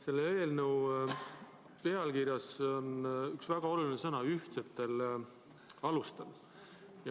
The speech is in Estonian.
Selle eelnõu pealkirjas on üks väga oluline sõnapaar – "ühtsetel alustel".